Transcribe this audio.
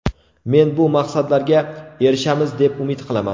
Men bu maqsadlarga erishamiz, deb umid qilaman.